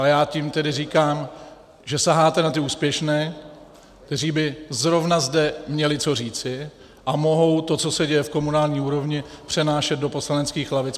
Ale já tím tedy říkám, že saháte na ty úspěšné, kteří by zrovna zde měli co říci a mohou to, co se děje v komunální úrovni, přenášet do poslaneckých lavic.